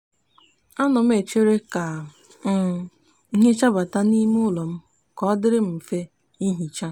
a no m echere ka um ihe chabata n'ime ulo m ka odiri m nfe ihicha